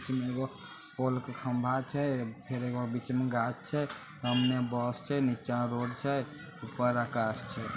एगो पोल के खंभा छै फेर एगो बीच में गाछ छै सामने बस छे नीचा रोड छै ऊपर आकाश छै।